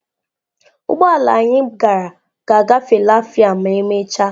Ụgbọ ala anyị gara ga-agafe lafia ma emechaa.